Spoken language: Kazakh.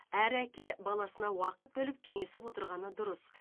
әр әке баласына уақыт бөліп кеңесіп отырғаны дұрыс